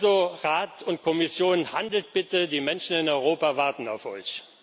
Also Rat und Kommission handelt bitte, die Menschen in Europa warten auf euch!